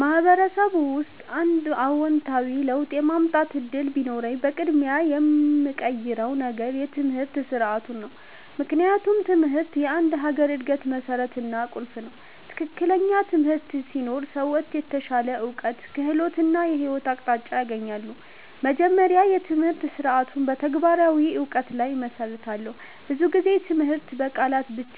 በማህበረሰብ ውስጥ አንድ አዎንታዊ ለውጥ የማምጣት እድል ቢኖረኝ፣ በቅድሚያ የምቀይረው ነገር የትምህርት ስርዓቱ ነው። ምክንያቱም ትምህርት የአንድ ሀገር እድገት መሠረት እና ቁልፍ ነው። ትክክለኛ ትምህርት ሲኖር ሰዎች የተሻለ እውቀት፣ ክህሎት እና የህይወት አቅጣጫ ያገኛሉ። መጀመሪያ፣ የትምህርት ስርዓቱን በተግባራዊ እውቀት ላይ እመሰርታለሁ። ብዙ ጊዜ ትምህርት በቃላት ብቻ